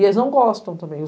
E eles não gostam também.